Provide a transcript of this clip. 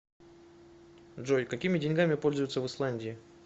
джой какими деньгами пользуются в исландии